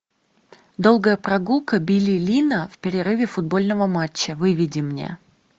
долгая прогулка билли линна в перерыве футбольного матча выведи мне